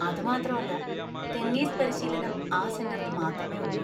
അത് മാത്രമല്ല, ടെന്നീസ് പരിശീലനം ആ സെന്‍ററിൽ മാത്രമേ ഉള്ളൂ.